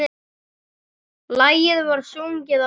Lagið var sungið á ensku.